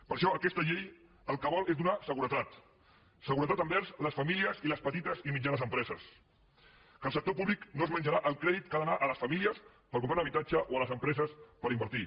per això aquesta llei el que vol és donar seguretat seguretat envers les famílies i les petites i mitjanes empreses que el sector públic no es menjarà el crèdit que ha d’anar a les famílies per comprar un habitatge o a les empreses per invertir